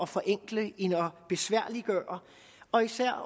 forenkle end at besværliggøre og især